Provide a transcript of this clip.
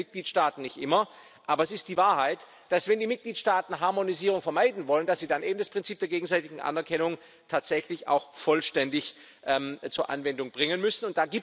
Das gefällt den Mitgliedstaaten nicht immer, aber es ist die Wahrheit, dass, wenn die Mitgliedstaaten Harmonisierung vermeiden wollen, sie dann eben das Prinzip der gegenseitigen Anerkennung tatsächlich auch vollständig zur Anwendung bringen müssen.